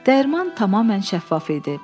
Dəyirman tamamən şəffaf idi.